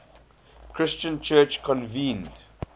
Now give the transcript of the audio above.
christian church convened